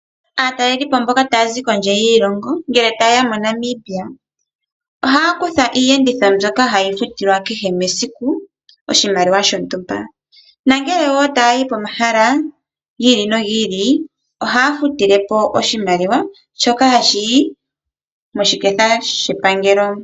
Aatalelipo mboka taya zi kondje yiilonga ngele taye ya moNamibia ohaya kutha iiyenditho mbyoka hayi futilwa kehe mesiku oshimaliwa shontumba. Ngele wo taya yi pomahala gi ili nogi ili ohaya futile po oshimaliwa, shoka hashi yi moshiketha shepangelo.